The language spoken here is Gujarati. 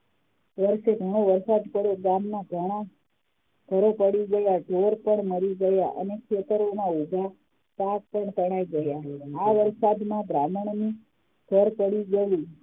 ઘણો વરસાદ પડ્યો ગામમાં ઘણા ઘરો પડી ગયા ઢોર પણ મરી ગયા અને ખેતરોમાં ઉભા પાક પણ તણાઈ ગયા આ વરસાદમાં બ્રાહ્મણ નું ઘર પડી ગયું